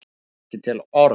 Á ekki til orð